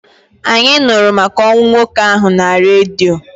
Anyị nụrụ maka ọnwụ nwoke ahụ na redio.